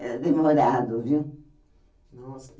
Era demorado, viu? Nossa